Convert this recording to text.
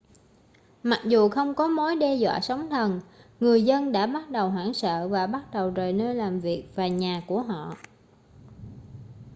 mặc dù không có mối đe dọa sóng thần người dân đã bắt đầu hoảng sợ và bắt đầu rời nơi làm việc và nhà của họ